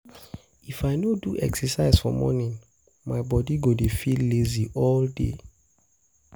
If I no do exercise for morning, my body go dey feel lazy all day.